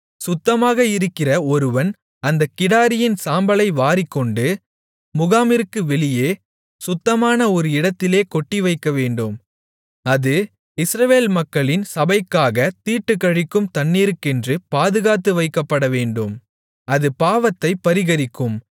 சுத்தமாக இருக்கிற ஒருவன் அந்தக் கிடாரியின் சாம்பலை வாரிக்கொண்டு முகாமிற்கு வெளியே சுத்தமான ஒரு இடத்திலே கொட்டிவைக்கவேண்டும் அது இஸ்ரவேல் மக்களின் சபைக்காகத் தீட்டுக்கழிக்கும் தண்ணீருக்கென்று பாதுகாத்து வைக்கப்படவேண்டும் அது பாவத்தைப் பரிகரிக்கும்